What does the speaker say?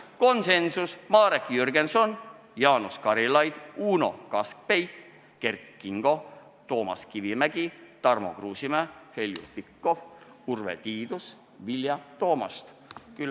Konsensuslik otsus: Marek Jürgenson, Jaanus Karilaid, Uno Kaskpeit, Kert Kingo, Toomas Kivimägi, Tarmo Kruusimäe, Heljo Pikhof, Urve Tiidus ja Vilja Toomast.